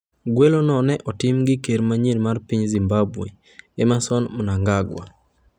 Gwelo go ne otim gi ker manyien mar piny Zimbabwe, Emmerson Mnangagwa.